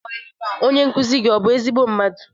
Onye nkuzi gị ọ bụ ezigbo mmadụ?